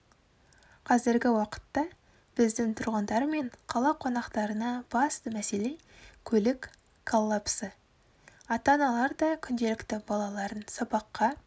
қазіргі уақытта біздің тұрғындар мен қала қонақтарына басты мәселе көлік коллапсы ата-аналар да күнделікті балаларын сабаққа